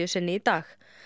sinni í dag